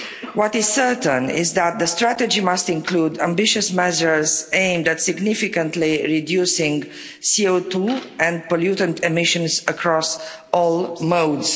What is certain is that the strategy must include ambitious measures aimed at significantly reducing CO2 and pollutant emissions across all modes.